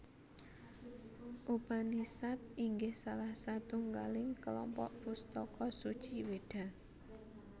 Upanisad inggih salah satunggaling kelompok pustaka suci weda